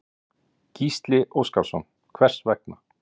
Gísli Óskarsson: Hvers vegna?